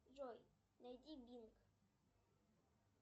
джой найди бинг